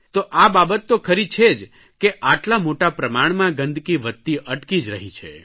તો આ બાબત તો ખરી છે જ કે આટલા મોટા પ્રમાણમાં ગંદકી વધતી અટકી જ રહી છે